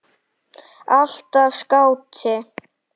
Alltaf skáti.